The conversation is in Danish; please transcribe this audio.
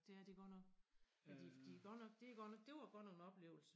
Det er de godt nok ja de de godt det godt nok dét var godt nok en oplevelse